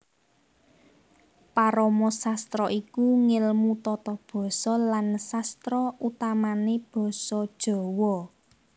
Paramasastra iku ngèlmu tata basa lan sastra utamané basa Jawa